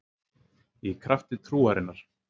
Í krafti trúarinnar